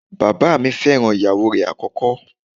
Bàbáà mi fẹ́ràn ìyàwó rẹ̀ àkọ́kọ́.